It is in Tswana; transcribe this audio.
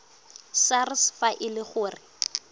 sars fa e le gore